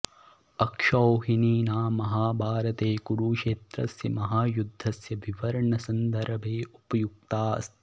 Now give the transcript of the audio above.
अक्षौहिणी नाम महाभारते कुरुक्षेत्रस्य महायुद्धस्य विवरणसन्दर्भे उपयुक्ता अस्ति